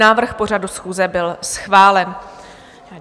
Návrh pořadu schůze byl schválen.